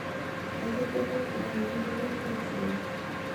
etejo kokoo ai ekidol taisere